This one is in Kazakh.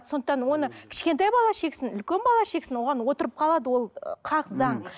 сондықтан оны кішкентай бала шексін үлкен бала шексін оған отырып қалады ол хақ заң